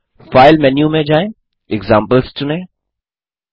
File menu में जाएँ examples चुनें